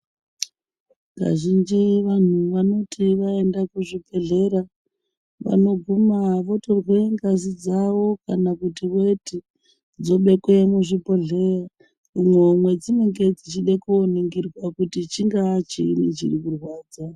Kazhinji vanhu wanoti kana waenda kuzvibhedhlera vanoguma votorwe ngazi dzawo kana kuti weti dzobekwe muzvibhedhlera umo madzinoningirwa kuti chingaa chii chinorwadza.